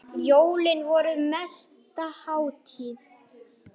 Eins og skáldið sagði ekki.